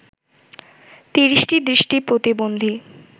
৩০টি দৃষ্টি প্রতিবন্ধী